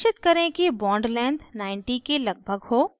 निश्चित करें कि bond length 90 के लगभग हो